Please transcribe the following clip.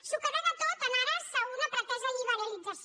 s’ho carrega tot en ares d’una pretesa liberalització